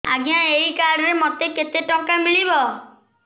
ଆଜ୍ଞା ଏଇ କାର୍ଡ ରେ ମୋତେ କେତେ ଟଙ୍କା ମିଳିବ